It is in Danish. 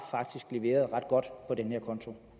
leveret ret godt på den her konto